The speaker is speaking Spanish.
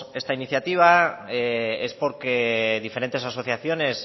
esta iniciativa es porque diferentes asociaciones